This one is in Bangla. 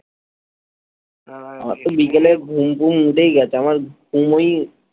আমার তো বিকালে ঘুম টুম উঠেই গেছে আমার ঘুমোই,